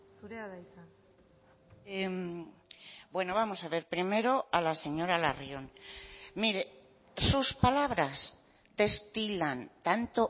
zurea da hitza bueno vamos a ver primero a la señora larrion mire sus palabras destilan tanto